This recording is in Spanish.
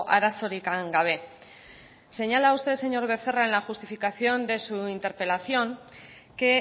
arazorik gabe señala usted señor becerra en la justificación de su interpelación que